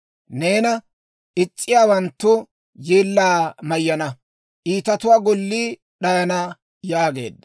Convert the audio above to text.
Neena is's'iyaawanttu yeellaa mayyana; iitatuwaa gollii d'ayana» yaageedda.